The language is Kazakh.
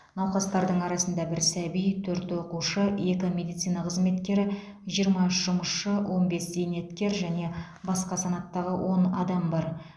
науқастардың арасында бір сәби төрт оқушы екі медицина қызметкері жиырма үш жұмысшы он бес зейнеткер және басқа санаттағы он адам бар